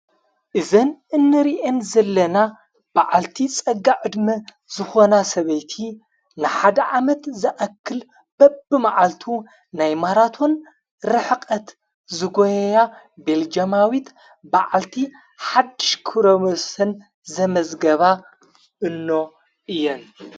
እዘን እንርየን ዘለና ብዓልቲ ጸጋዕ ዕድሚ ዝኾና ሰበይቲ ንሓደ ዓመት ዘኣክል በብ መዓልቱ ናይ ማራቶን ርሕቐት ዝጐያ ቤልጀማዊት ብዓልቲ ሓሽክሙስን ዘመዘገባ እኖ እየን።